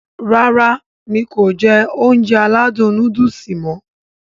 Rárá mi kò jẹ Ounjẹ aládùn nóódùsì mọ̀